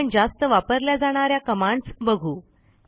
आपण जास्त वापरल्या जाणा या कमांडस् बघू